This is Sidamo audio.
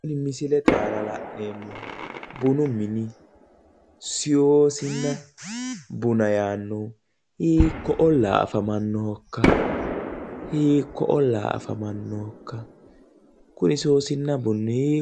Tini misilete aana la'neemmohu bunu mini seyosina buna yaannohu hiikko olliira afamannohokka? hiikko ollaa afamannohokka? kuni seyoosinna buni hiikko,,,,